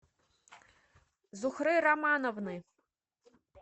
зухры романовны